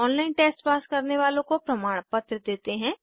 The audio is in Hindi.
ऑनलाइन टेस्ट पास करने वालों को प्रमाणपत्र देते हैं